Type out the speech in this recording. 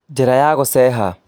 Njĩra ya gũceeha